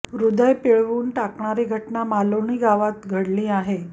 हृदय पिळवून टाकणारी घटना मालौनी गावात घडली आहे